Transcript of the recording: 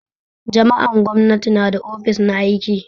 Jami'an gwamnati na da ofis na aiki.